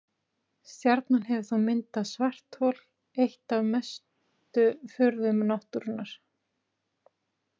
Stjarnan hefur þá myndað svarthol, eitt af mestu furðum náttúrunnar.